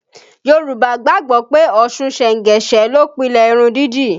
Yorùbá gbàgbọ́ pé Ọ̀ṣun sengese ló pilẹ̀ irun dídì